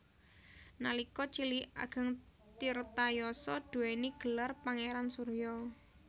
Nalika cilik Ageng Tirtayasa duwéni gelar pangeran Surya